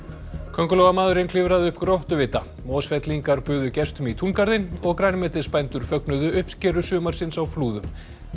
köngulóarmaðurinn klifraði upp Mosfellingar buðu gestum í túngarðinn og grænmetisbændur fögnuðu uppskeru sumarsins á Flúðum